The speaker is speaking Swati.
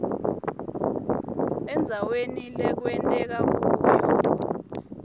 endzaweni lekwenteke kuyo